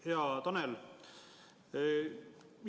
Hea Tanel!